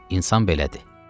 İnsan belədir.